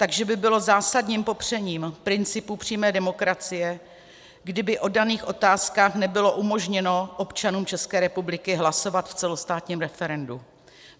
Takže by bylo zásadním popřením principů přímé demokracie, kdyby o daných otázkách nebylo umožněno občanům České republiky hlasovat v celostátním referendu.